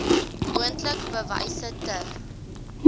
moontlik bewyse ter